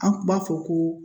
An kun b'a fɔ ko